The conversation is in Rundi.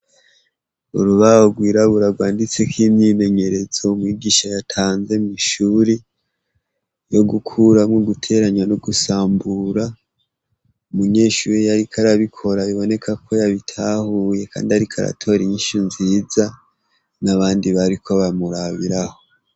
Urubaho rwirabura rwanditseko imyimenyerezo mwigisha yatanze mw'ishure, yo kuramwo, guteranya no gusambura. Umunyeshure yariko arabikora, biboneka ko yabitahuye kandi ariko aratora inyishu nziza n'abandi bariko baramurabirako.